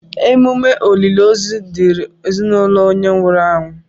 Emume olili ozu dịịrị ezinaụlọ onye nwụrụ anwụ.